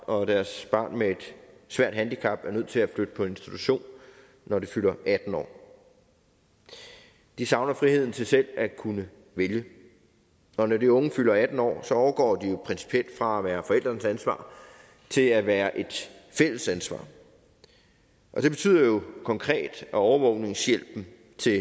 og at deres barn med et svært handicap er nødt til at flytte på institution når det fylder atten år de savner friheden til selv at kunne vælge når de unge fylder atten år overgår de jo principielt fra at være forældrenes ansvar til at være et fælles ansvar og det betyder jo konkret at overvågningshjælpen